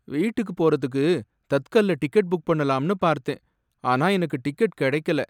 வீட்டுக்கு போறதுக்கு தத்கல்ல டிக்கெட் புக் பண்ணலாம்னு பார்த்தேன், ஆனா எனக்கு டிக்கெட் கிடக்கல.